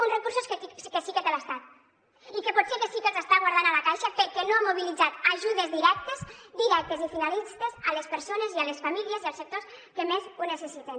uns recursos que sí que té l’estat i que potser sí que els està guardant a la caixa perquè no ha mobilitzat ajudes directes i finalistes a les persones i a les famílies i als sectors que més ho necessiten